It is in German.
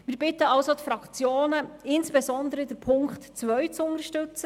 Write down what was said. Wir bitten die Fraktionen, insbesondere Punkt 2 zu unterstützen;